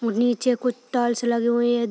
और नीचे कुछ टाईल्स लगी हुई है।